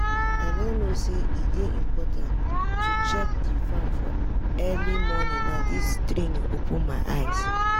i no know say e dey important to check di farm for early morning na dis training open my eyes.